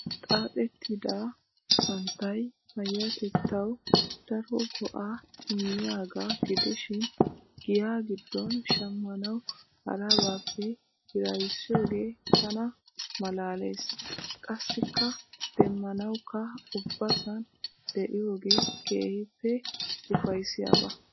Xaaxettida santtay paayyatettawu daro go'aa immiyaagaa gidishin giya giddon shammanawu harabaappe hiraysiyoogee tana malaalees. Qassikka demmanawukka ubbasan de"iyoogee keehippe ufayssiyaaba.